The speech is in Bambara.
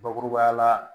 Bakurubaya la